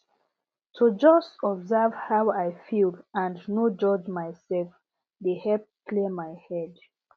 to just observe how i feel and no judge myself dey help clear my head